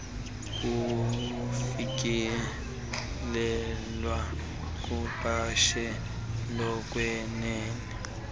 kufikelelwe kuqashelo lokwenene